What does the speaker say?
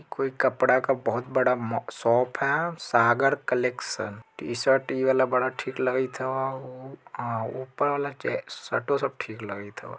कोई कपड़ा का बहुत बड़ा म-शॉप है सागर कलेक्शन टी - शर्ट इ वाला बड़ा ठीक लगित हो औ ऊपर वाला चेक्ष शर्टों सब ठीक लगित हो।